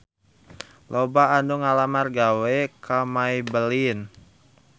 Loba anu ngalamar gawe ka Maybelline